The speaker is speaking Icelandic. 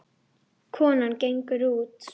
Konan gengur út.